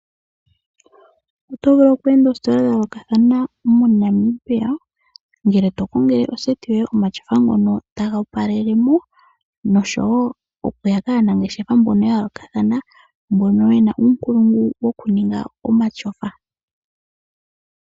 Otovulu oku enda oositola dhayoolokathana moNamibia ngele tokongele oseti yoye omashofa ngono ta ga opalelemo, noshowo okuya kaanangeshefa mbono yayoolokathana mbono yena uunkulungu wokuninga omashofa.